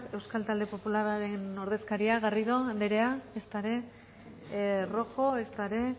euskal talde popularraren ordezkaria garrido anderea ezta ere rojo ezta ere